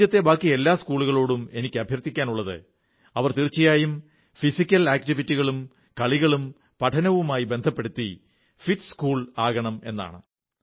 രാജ്യത്തെ ബാക്കി എല്ലാ സ്കൂളുകളോടും എനിക്ക് അഭ്യർഥിക്കാനുള്ളത് അവർ തീർച്ചയായും ഫിസിക്കൽ ആക്റ്റിവിറ്റികളും കളികളും പഠനവുമായി ബന്ധപ്പെടുത്തി ഫിറ്റ് സ്കൂൾ ആകണമെന്നാണ്